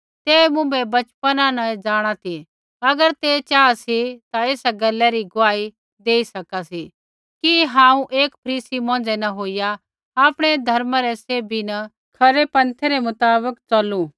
ते मुँभै बचपना न जाँणा ती अगर ते चाहा सी ता एसा गैला री गुआही देई सका ती कि हांऊँ एक फरीसी मौंझ़ै न होईया आपणै धर्मा रै सैभी न खरै पन्थै रै मुताबक च़लू